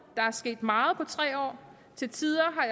der er sket meget på tre år til tider